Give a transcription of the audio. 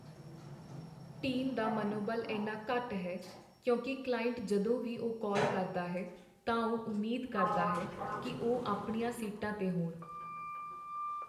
Team ਦਾ ਮਨੋਬਲ ਇੰਨਾ ਘੱਟ ਹੈ ਕਿਉਂਕਿ ਕਲਾਇੰਟ ਜਦੋਂ ਵੀ ਉਹ ਕਾਲ ਕਰਦਾ ਹੈ ਤਾਂ ਉਹ ਉਮੀਦ ਕਰਦਾ ਹੈ ਕਿ ਉਹ ਆਪਣੀਆਂ ਸੀਟਾਂ 'ਤੇ ਹੋਣ।